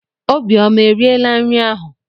Obiọma eriela nri ahụ?